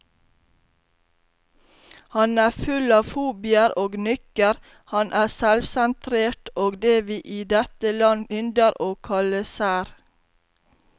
Han er full av fobier og nykker, han er selvsentrert og det vi i dette land ynder å kalle sær.